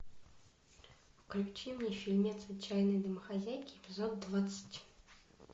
включи мне фильмец отчаянные домохозяйки эпизод двадцать